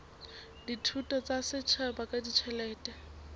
dithuso tsa setjhaba ka ditjhelete